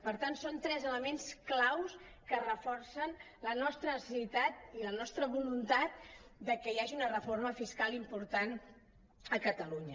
per tant són tres elements clau que reforcen la nostra necessitat i la nostra volun·tat que hi hagi una reforma fiscal important a catalunya